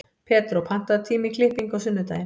Pedró, pantaðu tíma í klippingu á sunnudaginn.